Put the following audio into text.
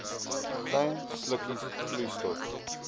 klein slukkies vloeistof